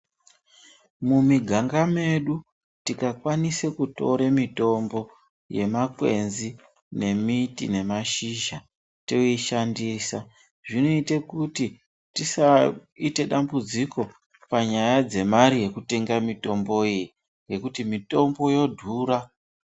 Mumiganga medu tikakwanisa kutore mitombo yemakwenzi nemiti nemashizha toishandisa zvinoite kuti tisaite dambudziko panyaya dzemare yekutenga mitombo iyi ngekuti mitombo yodhura.